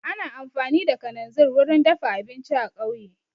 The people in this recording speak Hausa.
Ana amfani da kananzir wurin dafa abinci a kauye